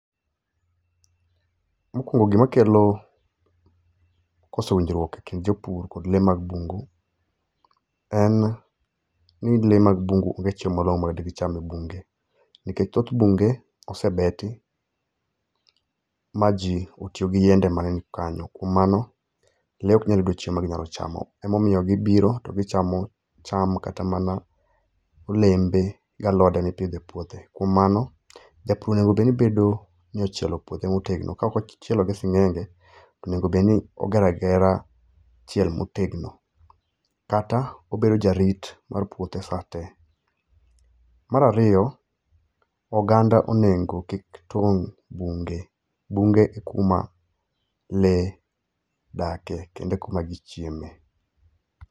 Mo kwongo gi ma kelo koso winjwuok e kind jo pur kod le mag bungu en ni le mag bungu onge chiemo morom ma gi cham e bunge ni kech thoth bunge osebeti ma ji otiyo gi yende ma ngeny kanyo kuom mano le ok nyal yudo chiemo ma gi nyalo chamo ema omiyo gi biro to gi chamo cham kata olembe ka gi pidho e puothe kuom mano ja pur onego bed ni ochielo puothe ma otegno ka ok ochielo gi singenge onego bed ni ogero agera chiel ma otegno kata obet ja rit mar puothe sa te mar ariyo oganda o nego kiki tong bunge bunge e kuma le dakie kendo e kuma gi chiemo e.